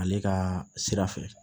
Ale ka sira fɛ